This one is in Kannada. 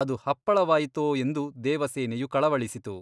ಅದು ಹಪ್ಪಳವಾಯಿತೋ ಎಂದು ದೇವಸೇನೆಯು ಕಳವಳಿಸಿತು.